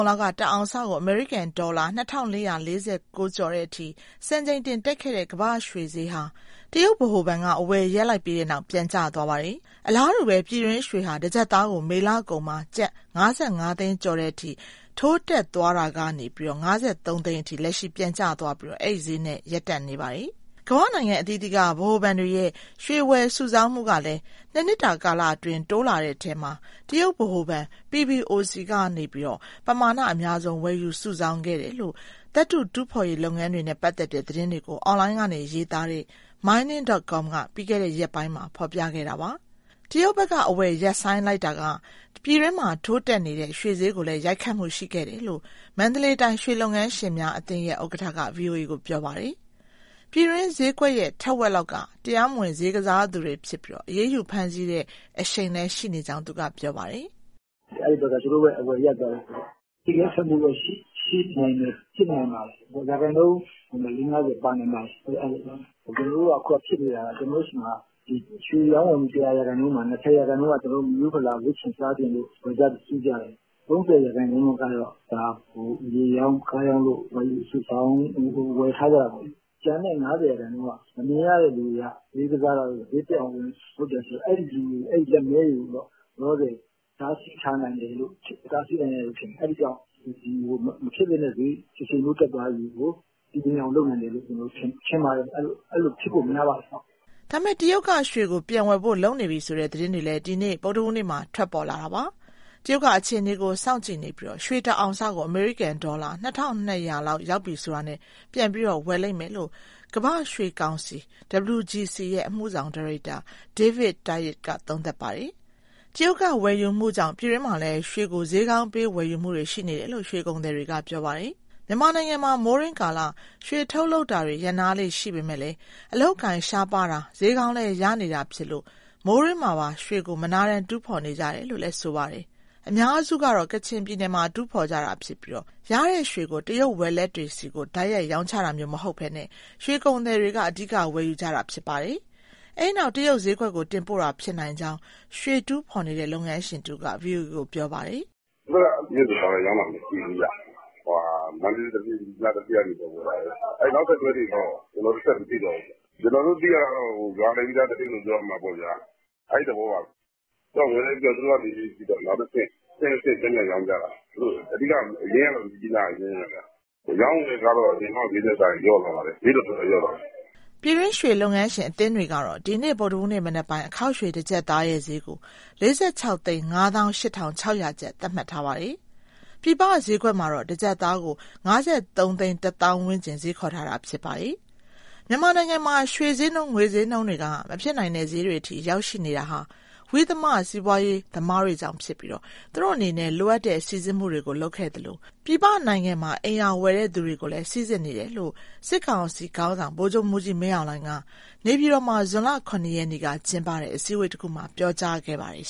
န်လောက်က တအောင်စကို အမေရိကန်ဒေါ်လာ ၂,၄၄၉ ကျော်တဲ့အထိ စံချိန်တင်တက်ခဲ့တဲ့ ကမ္ဘာရွှေစျေးဟာ တရုတ်ဗဟိုဘဏ်က အဝယ်ရပ်လိုက်ပြီးတဲ့နောက် ပြန်ကျသွားပါတယ်။ အလားတူပဲ ပြည်တွင်းရွှေဟာ တကျပ်သားကို မေလကုန်မှာ ကျပ်၅၅သိန်းကျော်တဲ့အထိ ထိုးတက်သွားတာကနေ ၅၃ သိန်းထိ လက်ရှိ ပြန်ကျသွားပြီး အဲဒီစျေးနှုန်းနဲ့ ရပ်တန့်နေပါတယ်။ ကမ္ဘာနိုင်ငံအသီးသီးက ဗဟိုဘဏ်တွေရဲ့ ရွှေဝယ်စုဆောင်းမှုကလည်း ၂နှစ်တာကာလအတွင်း တိုးလာတဲ့ အထဲမှာ တရုတ်ဗဟိုဘဏ် PBOC ဘဏ်က ပမာဏအများဆုံး ဝယ်ယူစုဆောင်းခဲ့တယ်လို့ သတ္တု တူးဖေါ်ရေးလုပ်ငန်းတွေနဲ့ ပတ်သက်တဲ့ သတင်းတွေကို အွန်လိုင်းကနေရေးသားနေတဲ့ Mining.com က ပြီးခဲ့တဲ့ရက်ပိုင်းမှာ ဖော်ပြခဲ့တာပါ။ တရုတ်ဘက်က အဝယ်ရပ်ဆိုင်းတာက ပြည်တွင်းမှာ ထိုးတက်နေတဲ့ ရွှေစျေးကိုလည်း ရိုက်ခတ်မှုရှိခဲ့တယ်လို့ မန္တလေးတိုင်း ရွှေလုပ်ငန်းရှင်များအသင်းရဲ့ ဥက္ကဋ္ဌက ဗွီအိုအေကို ပြောပါတယ်။ ပြည်တွင်း စျေးကွက်ရဲ့ ထက်ဝက်လောက်က တရားမဝင်စျေးကစားသူတွေဖြစ်ပြီး အရေးယူ ဖမ်းဆီးခဲ့တဲ့ အရှိန်လည်း ရှိနေကြောင်း သူကပြောပါတယ်။ " အဲဒီဘက်က သူတို့ရဲ့အဝယ်ရပ်သွားတာ အဲဒီရိုက်ခတ်မှုတော့ ရှိနိုင်တယ်၊ ဖြစ်နိုင်ပါတယ်။ ရာခိုင်နှုန်းနဲ့ ၄/၅၀ ပါနိုင်ပါတယ်။ ကျနော်တို့က ဖြစ်နေတာက ကျနော်တို့ဆီမှာ ရွှေရောင်းဝယ်မှု ၁၀၀ရာခိုင်နှုန်းမှာ ၂၀ရာခိုင်နှုန်းက မိရိုးဖလာ ဝတ်ချင်စားချင်လို့ ဝယ်ကြ၊ စုကြတယ်။ ၃၀ ရာခိုင်နှုန်းလောက်ကတော့ မြေရောင်း၊ ကားရောင်းလို့ ဝယ်ယူစုဆောင်း၊ ဝယ်ထားကြတယ်ပေါ့လေ။ ကျန်တဲ့ ၅၀ရာခိုင်နှုန်းလောက်က မမြင်ရတဲ့သူတွေက စျေးကစားတာတို့၊ စျေးတက်အောင်လုပ်တာရှိတယ်။ အဲလူတွေ၊ လက်မည်းတွေတော့ လောလောဆယ် တားဆီးထားနိုင်တယ်လို့ ထင်တယ်။ အဲဒီကြောင့် မဖြစ်သင့်တဲ့စျေး တရှိန်ထိုး တက်သွားတာကို တည်ငြိမ်အောင် လုပ်နိုင်တယ်လို့ ထင်ပါတယ်။ အဲလိုဖြစ်ဖို့ များပါတယ်။" ဒါပေမဲ့ တရုတ်က ရွှေကို ပြန်ဝယ်ဖို့ လုပ်နေပြီဆိုတဲ့ သတင်းတွေလည်း ဒီနေ့ ဗုဒ္ဓဟူးနေ့မှာ ထွက်ပေါ်လာပါတယ်။ " တရုတ်က အခြေအနေကို စောင့်ကြည့်နေပြီး ရွှေတအောင်စကို အမေရိကန်ဒေါ်လာ ၂,၂၀၀ လောက်ရောက်ပြီဆိုတာနဲ့ ပြန်ပြီးဝယ်လိမ့်မယ်" လို့ ကမ္ဘာ့ရွှေကောင်စီ ရဲ့ အမှုဆောင်ဒါရိုက်တာ David Tait ကသုံးသပ်ထားပါတယ်။ တရုတ်ဝယ်ယူမှုကြောင့် ပြည်တွင်းမှာလည်း ရွှေကို စျေးကောင်းပေး ဝယ်ယူမှုတွေ ရှိနေတယ်လို့ ရွှေကုန်သည်တွေက ပြောပါတယ်။ မြန်မာနိုင်ငံမှာ မိုးတွင်းကာလ ရွှေထုတ်လုပ်တာတွေ ရပ်နားလေ့ရှိပေမဲ့ အလုပ်အကိုင် ရှားပါးတာ၊ စျေးကောင်းလည်း ရနေတာဖြစ်လို့ မိုးတွင်းမှာပါ ရွှေကို မနားတမ်း တူးဖော်နေကြတယ်လို့လည်း ဆိုပါတယ်။ အများစုကတော့ ကချင်ပြည်နယ်မှာ တူးဖော်ကြတာဖြစ်ပြီး ရတဲ့ရွှေကို တရုတ်ဝယ်လက်တွေဆီ တိုက်ရိုက် ရောင်းချတာမျိုးမဟုတ်ဘဲ ရွှေကုန်သည်တွေက အဓိက ဝယ်ယူကြတာဖြစ်ပါတယ်။ အဲဒီနောက် တရုတ်စျေးကွက်ကို တင်ပို့တာ ဖြစ်နိုင်ကြောင်း ရွှေတူးဖော်နေတဲ့ လုပ်ငန်းရှင်တဦးက ဗွီအိုအေကို ပြောပါတယ်။ " ဒီဘက်က တရုတ်ကို တိုက်ရိုက်ရောင်းတာ မရှိဘူးဗျ၊ မန္တလေး၊ မြစ်ကြီးနားသူဌေးက ဝယ်တာပဲ။ အဲဒီ နောက်ဆက်တွဲတွေတော့ ကျနောတို့ ဆက်ပြီးမသိတော့ဘူး။ ကျနော်တို့ သိရတာကတော့ ရွာလည်ပြီးသား သတင်းလို့ ပြောရမှာပေါ့ဗျာ အဲသဘောပါပဲ ။ ဝယ်လည်းပြီးရော သူတို့ကနေ နောက်တဆင့် အဆင့်ဆင့် ပြန်ပြန်ရောင်းကြတာ။ အရင်းကတော့ မြစ်ကြီးနားက အရင်းပဲ။ အရောင်းအဝယ်ကတော့ အရင်တုန်းက စျေးထက်စာရင် လျော့သွားပါတယ်၊ စျေးတော်တော်လျော့သွားတယ်။" ပြည်တွင်းရွှေလုပ်ငန်းရှင် အသင်းတွေကတော့ ဒီနေ့ ဗုဒ္ဓဟူးနေ့ မနက်ပိုင်း အခေါက်ရွှေ တကျပ်သားရဲ့စျေးကို ၄,၆၅၈,၆၀၀ ကျပ်သတ်မှတ်ထားပါတယ်။ ပြင်ပစျေးကွက်မှာတော့ တကျပ်သားကို ၅,၃၁၀,၀၀၀ ဝန်းကျင်စျေးခေါ်ထားတာ ဖြစ်ပါတယ်။ မြန်မာနိုင်ငံမှာ ရွှေစျေးနှုန်း၊ ငွေစျေးနှုန်းတွေက မဖြစ်နိုင်တဲ့စျေးတွေအထိ ရောက်ရှိနေတာဟာ ဝိသမစီးပွားရေး သမားတွေကြောင့်ဖြစ်ပြီး၊ သူတို့အနေနဲ့ လိုအပ်တဲ့စိစစ်မှုတွေကို လုပ်ခဲ့သလို၊ ပြည်ပနိုင်ငံမှာ အိမ်ရာဝယ်ယူတဲ့ သူတွေကိုလည်း စိစစ်နေတယ်လို့ စစ် ကောင်စီခေါင်းဆောင် ဗိုလ်ချုပ်မှူးကြီးမင်းအောင်လှိူင်က နေပြည်တော်မှာ ဇွန်လ ရက်နေ့က လုပ်တဲ့ အစည်းအဝေးတခုမှာ ပြောကြားခဲ့ပါတယ်